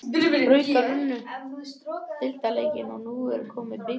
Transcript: Haukar unnu deildarleikinn og nú er komið að bikarkeppninni.